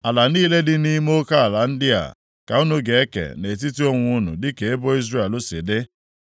“Ala niile dị nʼime oke ala ndị a, ka unu ga-eke nʼetiti onwe unu dịka ebo Izrel si dị.